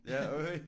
Ja okay